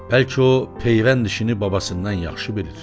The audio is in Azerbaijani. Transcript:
Bəlkə o peyvənd işini babasından yaxşı bilir?